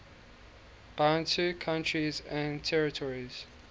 bantu countries and territories